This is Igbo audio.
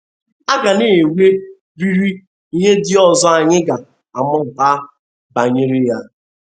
A ga na - enwe riri ihe ndị ọzọ anyị ga - amụta banyere ya..